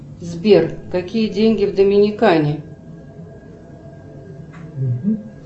сбер какие деньги в доминикане